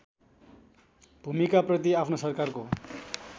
भूमिकाप्रति आफ्नो सरकारको